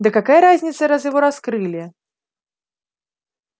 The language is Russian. да какая разница раз его раскрыли